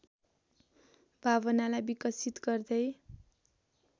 भावनालाई विकसित गर्दै